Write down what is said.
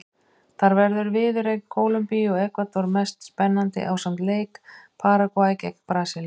Þar verður viðureign Kólumbíu og Ekvador mest spennandi ásamt leik Paragvæ gegn Brasilíu.